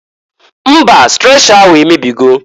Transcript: Mba! Strecha ahụ emebigo.